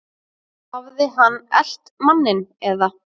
Hafði hann elt manninn eða?